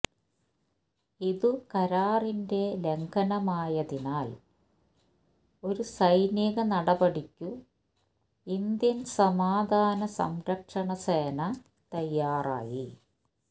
ഇതു കരാറിന്റെ ലംഘനമായതിനാൽ ഒരു സൈനിക നടപടിക്കു ഇന്ത്യൻ സമാധാന സംരക്ഷണ സേന തയ്യാറായി